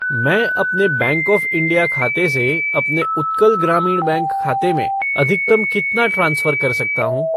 मैं अपने bank of India खाते से अपने उत्कल ग्रामीण बैंक खाते में अधिकतम कितना ट्रांसफ़र कर सकता हूँ?